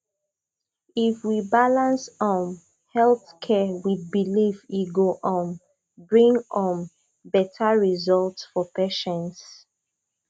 if we balance um health care with belief e go um bring um better results for patients